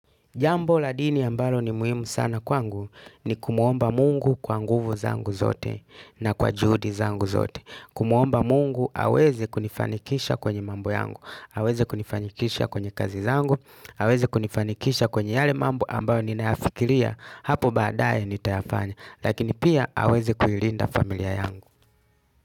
Jambo la dini ambalo ni muhimu sana kwangu ni kumuomba mungu kwa nguvu zangu zote na kwa juhudi zangu zote. Kumuomba mungu aweze kunifanikisha kwenye mambo yangu, aweze kunifanikisha kwenye kazi zangu, aweze kunifanikisha kwenye yale mambo ambayo ninayafikiria hapo baadaye nitayafanya. Lakini pia aweze kuirinda familia yangu.